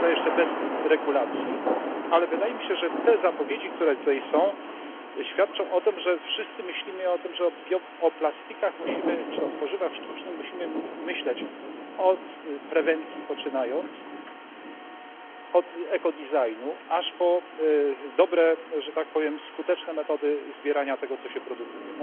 Co prawda jeszcze bez regulacji, ale wydaje mi się, że te zapowiedzi, które tutaj są, świadczą o tym, że wszyscy myślimy o tym, że o plastikach czy o tworzywach sztucznych musimy myśleć, od prewencji poczynając, od ekoprojektu aż po dobre że tak powiem skuteczne metody zbierania tego, co się produkuje.